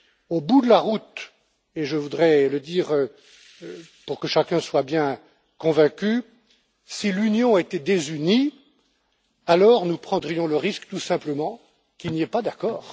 Au bout de la route et je voudrais le dire pour que chacun soit bien convaincu si l'Union était désunie, nous prendrions le risque, tout simplement, qu'il n'y ait pas d'accord.